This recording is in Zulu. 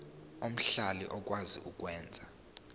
omhlali okwazi ukwenza